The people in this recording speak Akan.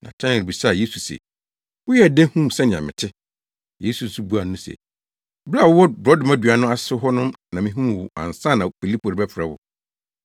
Natanael bisaa Yesu se, “Woyɛɛ dɛn huu sɛnea mete?” Yesu nso buaa no se, “Bere a wowɔ borɔdɔma dua no ase hɔ no na mihuu wo ansa na Filipo rebɛfrɛ wo.”